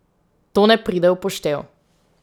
To ne pride v poštev.